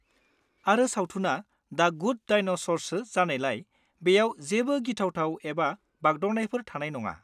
आरो सावथुनआ 'the good डायनास'र'सो जानायलाय, बेयाव जेबो गिथावथाव एबा बागदावनायफोर थानाय नङा।